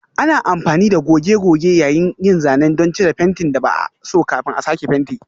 Ana amfani da goge-goge yayin yin zanen don cire fentin da ba a so kafin a sake fenti.